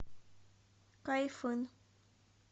кайфын